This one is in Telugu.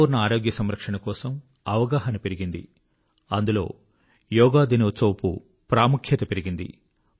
హోలిస్టిక్ హెల్త్ కేర్ కోసం అవగాహన పెరిగింది అందులో యోగా డే ప్రాముఖ్యత పెరిగింది